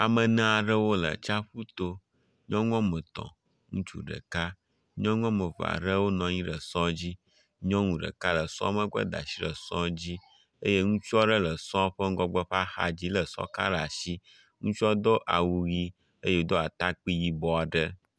Ame ene aɖewo le tsaƒu to. Nyɔnu wɔme etɔ̃ ŋutsu ɖeka. Nyɔnu wɔme eve aɖewo nɔ anyi ɖe sɔ dzi. Nyɔnu ɖeka le sɔ megbe da asi ɖe sɔ dzi eye ŋutsu aɖe le sɔ ƒe ŋgɔgbe ƒe axa dzi le sɔ ka ɖe asi. Ŋutsu do awu ʋi eye wodo atakpui yibɔ aɖe.